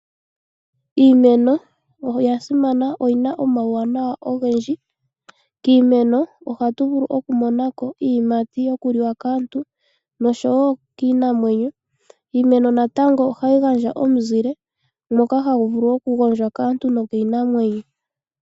Iimeno oyasimana, oyina omawunawa ogendji, kiimeno ohatuvulu okumonako iiyimati yokuliwa kaantu noshowo kiinamwenyo, iimeno natango ohayigandja omuzile moka hamuvulu okugondjwa kaantu nokiinamwenyo.